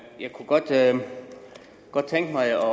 kunne godt tænke mig